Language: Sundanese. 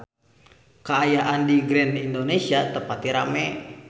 Kaayaan di Grand Indonesia teu pati rame